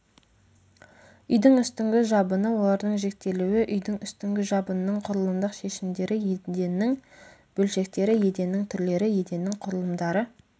үйдің үстіңгі жабыны олардың жіктелуі үйдің үстіңгі жабынының құрылымдық шешімдері еденнің бөлшектері еденнің түрлері еденнің құрылымдары